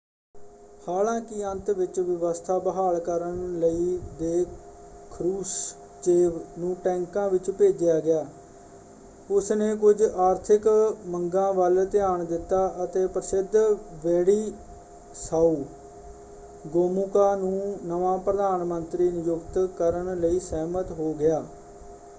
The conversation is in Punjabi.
ਹਾਲਾਂਕਿ ਅੰਤ ਵਿੱਚ ਵਿਵਸਥਾ ਬਹਾਲ ਕਰਨ ਲਈ ਦੇ ਖਰੁਸ਼ਚੇਵ ਨੂੰ ਟੈਂਕਾਂ ਵਿੱਚ ਭੇਜਿਆ ਗਿਆ ਉਸਨੇ ਕੁਝ ਆਰਥਿਕ ਮੰਗਾਂ ਵੱਲ ਧਿਆਨ ਦਿੱਤਾ ਅਤੇ ਪ੍ਰਸਿੱਧ ਵੈਡਿਸਾਓ ਗੋਮੂਕਾ ਨੂੰ ਨਵਾਂ ਪ੍ਰਧਾਨ ਮੰਤਰੀ ਨਿਯੁਕਤ ਕਰਨ ਲਈ ਸਹਿਮਤ ਹੋ ਗਿਆ।